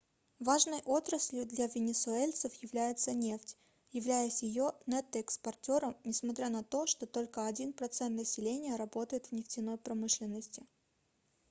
важной отраслью для венесуэльцев является нефть являясь её нетто-экспортером несмотря на то что только один процент населения работает в нефтяной промышленности